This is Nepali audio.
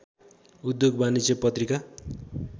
उद्योग वाणिज्य पत्रिका